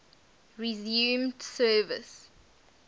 resumed service